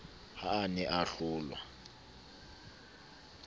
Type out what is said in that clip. ha a ne a hlolwa